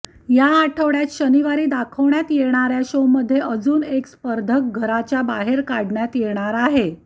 या आठवड्यात शनिवारी दाखवण्यात येणाऱ्या शोमध्ये अजून एक स्पर्धक घराच्या बाहेर काढण्यात येणार आहे